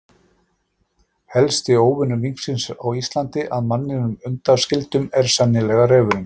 Helsti óvinur minksins á Íslandi, að manninum undanskildum, er sennilega refurinn.